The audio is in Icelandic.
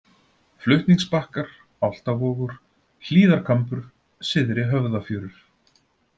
Flutningsbakkar, Álftavogur, Hlíðarkambur, Syðri-Höfðafjörur